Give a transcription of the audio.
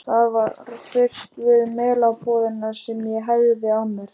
Það var fyrst við Melabúðina sem ég hægði á mér.